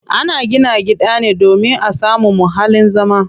Ana gina gida ne domin a samu muhallin zama.